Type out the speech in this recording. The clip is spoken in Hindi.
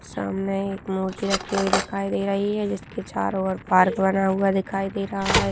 सामने एक मूर्ति रखी हुई दिखाई दे रही है जिसके चारो ओर पार्क बना हुआ दिखाई दे रहा है।